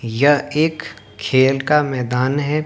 यह एक खेल का मैदान है।